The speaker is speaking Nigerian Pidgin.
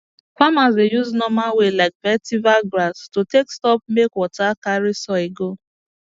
farmers dey use normal way like vetiver grass to take stop make water carry soil go